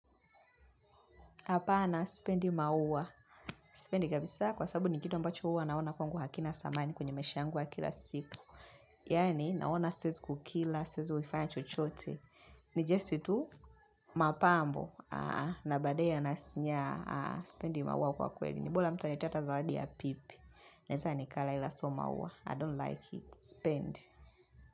Hapana sipendi maua. Sipendi kabisa kwa sababu ni kitu ambacho huwa naona kwangu hakina thamani kwenye maisha yangu ya kila siku. Yaani naona siwezi kukila, siwezi kukifanya chochote. Ni just tu mapambo na baadaye yananyaa sipendi maua kwa kweli. Ni bora mtu alete hata zawadi ya pipi. Naweza nikala ila siyo maua I don't like it. Sipendi.